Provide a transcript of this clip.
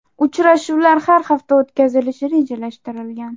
Uchrashuvlar har hafta o‘tkazilishi rejalashtirilgan.